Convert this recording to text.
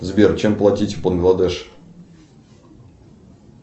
сбер чем платить в бангладеш